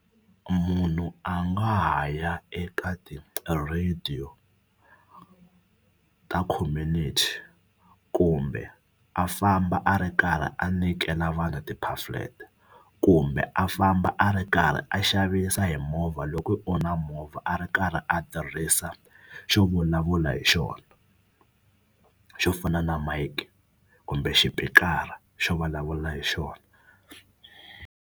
Munhu a nga ha ya eka ti-radio ta community kumbe a famba a ri karhi a nyikela vanhu ti-pamphlet kumbe a famba a ri karhi a xavisa hi movha loko hi ku u na movha a ri karhi a tirhisa xo vulavula hi xona xo fana na mic kumbe xipikara xo vulavula hi xona.